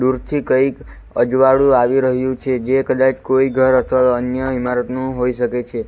વચ્ચે કઈક અજવાળું આવી રહ્યું છે જે કદાચ કોઈ ઘર અથવા અન્ય ઇમારતનું હોઈ શકે છે.